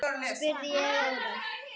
spurði ég órór.